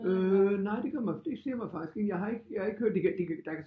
Øh nej det gør mig det siger mig faktisk ikke jeg har ikke jag har ikke det kan der kan